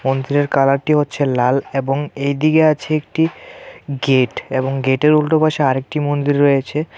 মন্দিরের কালারটি হচ্ছে লাল এবং এইদিকে আছে একটি গেট এবং গেটের উল্টোপাশে আরেকটি মন্দির রয়েছে.